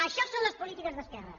això són les polítiques d’esquerra